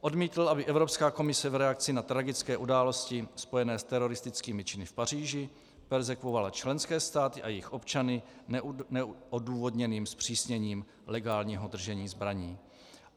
Odmítl, aby Evropská komise v reakci na tragické události spojené s teroristickými činy v Paříži perzekvovala členské státy a jejich občany neodůvodněným zpřísněním legálního držení zbraní.